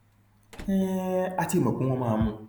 um a ti mọ pé wọn máa mú un